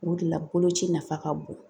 O de la boloci nafa ka bon